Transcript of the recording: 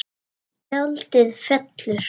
Tjaldið fellur.